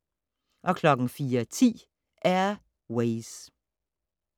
04:10: Air Ways